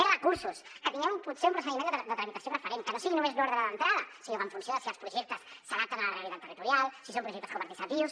més recursos que tinguem potser un procediment de tramitació preferent que no sigui només d’ordre d’entrada sinó que en funció de si els projectes s’adapten a la realitat territorial si són projectes coparticipatius